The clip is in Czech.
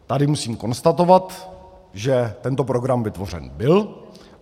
Tady musím konstatovat, že tento program vytvořen byl.